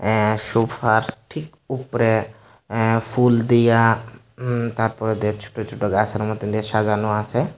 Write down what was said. অ্যা সোফার ঠিক উপরে অ্যা ফুল দিয়া উম তারপরে তে ছোট ছোট গাছের মতন দিয়া সাজানো আছে।